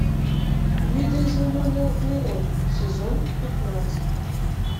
видоизмененный углерод сезон пятнадцать